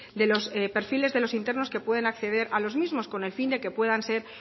de los perfiles de los internos que pueden acceder a los mismos con el fin de que puedan ser